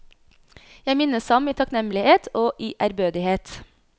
Jeg minnes ham i takknemlighet og i ærbødighet.